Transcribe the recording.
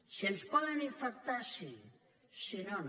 si ens poden infectar sí si no no